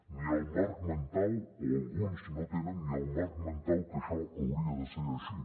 o alguns no tenen ni el marc mental que això hauria de ser així